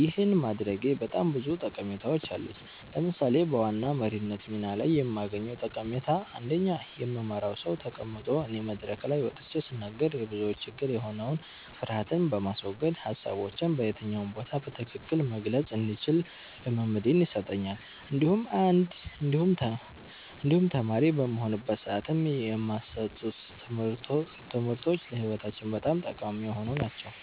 ይህን ማድረጌ በጣም ብዙ ጠቀሜታዎች አሉት። ለምሳሌ በዋና መሪነት ሚና ላይ የማገኘዉ ጠቀሜታ አንደኛ የምመራዉ ሰዉ ተቀምጦ እኔ መድረክ ላይ ወጥቼ ስናገር የብዙዎች ችግር የሆነዉን ፍርሀትን በማስወገድ ሀሳቦቼን በየትኛው ቦታ በትክክል መግለፅ እንድችል ልምምድን ይሰጠኛል እንዲሁም ተማሪ በምሆንበት ሰዓትም የማሰጡን ትምህርቶች ለህይወታችን በጣም ጠቃሚ የሆኑ ናቸዉ።